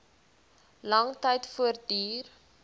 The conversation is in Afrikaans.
lang tyd voortduur